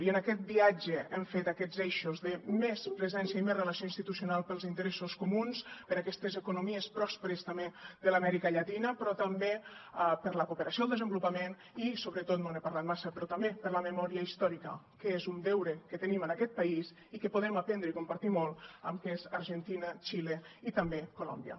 i en aquest viatge hem fet aquests eixos de més presència i més relació institucional per als interessos comuns per a aquestes economies pròsperes també de l’amèrica llatina però també per la cooperació al desenvolupament i sobretot no n’he parlat massa però també per la memòria històrica que és un deure que tenim en aquest país i que podem aprendre i compartir molt amb argentina xile i també colòmbia